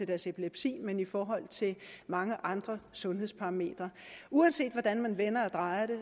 deres epilepsi men i forhold til mange andre sundhedsparametre uanset hvordan man vender og drejer det